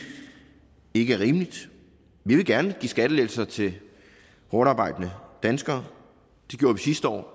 ikke er rimeligt vi vil gerne give skattelettelser til hårdtarbejdende danskere det gjorde vi sidste år og